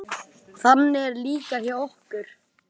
Mark, er bolti á miðvikudaginn?